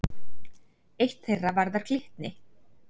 Eitt þeirra varðar Glitni.